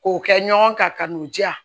K'o kɛ ɲɔgɔn kan ka n'u diya